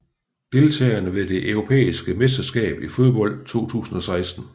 Deltagere ved det europæiske mesterskab i fodbold 2016